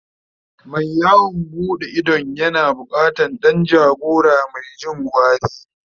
Mai yawon buɗe idon yana bukatan Dan jagora Mai Jin gwari